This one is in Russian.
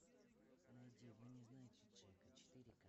найди вы не знаете джека четыре ка